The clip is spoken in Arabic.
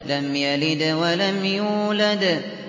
لَمْ يَلِدْ وَلَمْ يُولَدْ